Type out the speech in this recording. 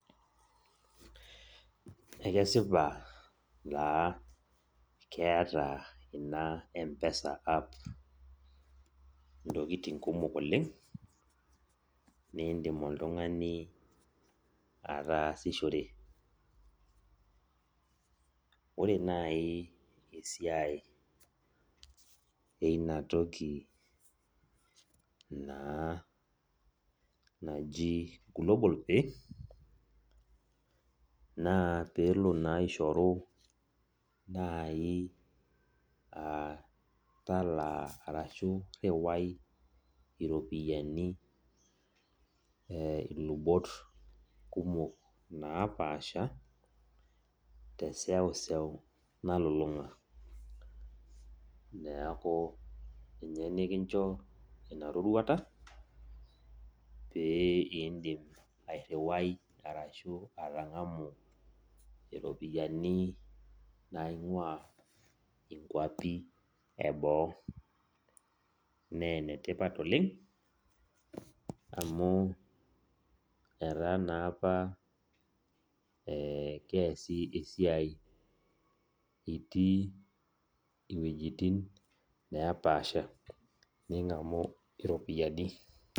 Ekesipa taa keeta ina mpesa app ntokitin kumok oleng nindim oltungani ataasishore ore nai esiai ina toki na naji global pay na pelo na aishoru nai talaa ashu riwai iropiyiani tolubot napaasha toseuseu napaasha neaku ninye nikincho inarorwata pindim atangamu ropiyani naingua inkwapi eboo na enetipat oleng amu etaa naapa keasi esiai itii iwuejitin napaasha ningamu iropiyiani.